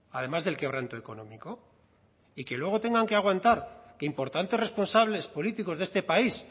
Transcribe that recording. además del quebranto económico y que luego tengan que aguantar que importantes responsables políticos de este país